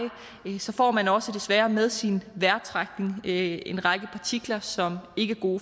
får man også desværre med sin vejrtrækning en række partikler som